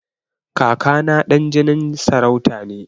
Kaka na ɗan jinin sarauta ne.